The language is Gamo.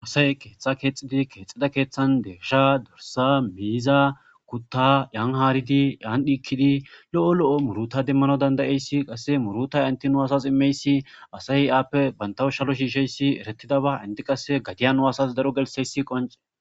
Asay ketha kexid kexida kethan deysha , dirs muza, Kuta Yan harid Yan dhikid lo'o lo'o muruta demanaw dand'yays qase muruta ENT nu asas imiyays asay appe shalo shishiyaya qonce..